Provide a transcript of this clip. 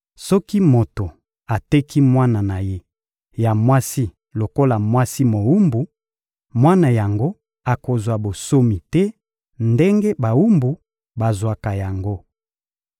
Soki moto ateki mwana na ye ya mwasi lokola mwasi mowumbu, mwana yango akozwa bonsomi te ndenge bawumbu bazwaka yango.